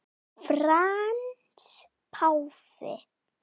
Frans páfi